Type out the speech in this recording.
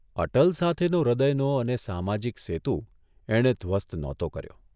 અટલ સાથેનો હૃદયનો અને સામાજિક સેતુ એણે ધ્વસ્ત નહોતો કર્યો.